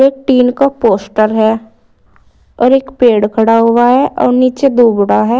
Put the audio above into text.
एक टीन का पोस्टर है और एक पेड़ खड़ा हुआ है और नीचे दो है।